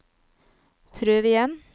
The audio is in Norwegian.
prøv igjen